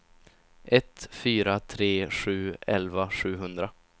ett fyra tre sju elva sjuhundra